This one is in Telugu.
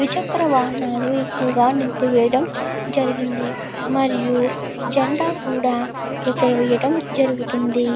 త్రి చెకర వాహనల్లు ఎక్కువ నిలిపి వేయడం జేరిగింది. మరియు జెండా కూడా ఇక్క్కడ వేయడం జేరుగుతుంది.